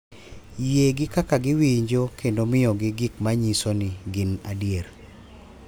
Yie gi kaka giwinjo kendo miyogi gik ma nyiso ni gin adier.